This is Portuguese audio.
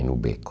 Em o beco.